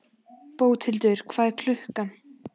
Bóthildur, hvað er klukkan?